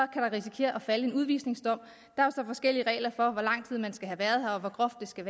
risikere at falde en udvisningsdom der er så forskellige regler for hvor lang tid man skal have været her og hvor groft det skal